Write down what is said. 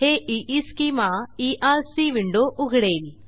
हे ईस्केमा ERC window उघडेल